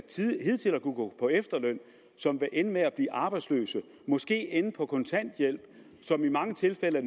hidtil har kunnet gå på efterløn som vil ende med at blive arbejdsløse og måske ende på kontanthjælp som i mange tilfælde